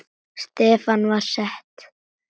Stefnan var sett.